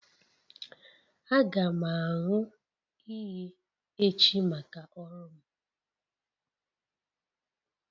Aga m aṅụ iyi echi maka ọrụ m